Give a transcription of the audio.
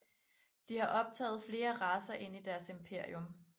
De har optaget flere racer ind i deres imperium